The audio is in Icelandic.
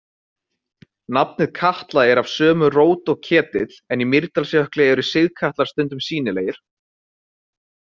Nafnið Katla er af sömu rót og ketill, en í Mýrdalsjökli eru sigkatlar stundum sýnilegir.